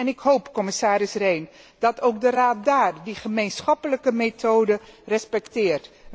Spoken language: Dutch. Ik hoop, commissaris Rehn, dat ook de Raad daar die gemeenschappelijke methode respecteert.